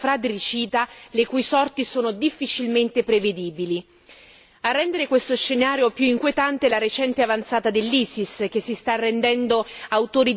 A rendere questo scenario più inquietante vi è la recente avanzata dell'ISIS, che si sta rendendo autore di crimini contro l'umanità a cui abbiamo già assistito in Siria e in Iraq.